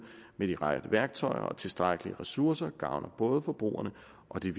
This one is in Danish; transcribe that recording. med de rette værktøjer og tilstrækkelige ressourcer gavner både forbrugerne og de